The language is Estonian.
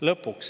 Lõpuks.